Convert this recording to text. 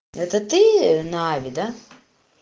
это ты на ави да